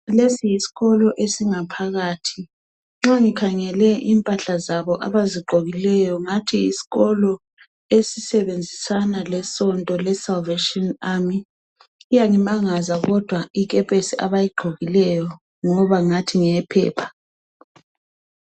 lesi yisikolo esingaphakathi nxa ngikhangele imphahla zabo abazigqokileyo ngathi yisikolo esisebenzisana lesonto le Salvation Army iyangimangaza kodwa ikepesi abayigqokileyo ngoba ngathi ngeyephepha